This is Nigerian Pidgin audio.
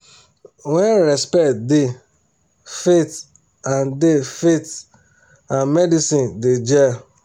when respect da faith and da faith and medicine da jell